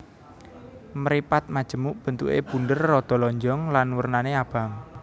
Mripat majemuk bentuké bunder rada lonjong lan wernané abang